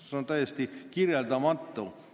See on täiesti kirjeldamatu!